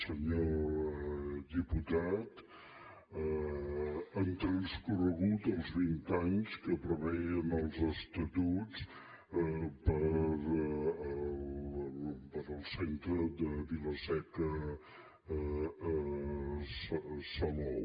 senyor diputat han transcorregut els vint anys que preveien els estatuts per al centre de vila seca i salou